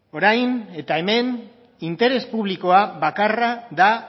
orain eta hemen interes publikoa bakarra da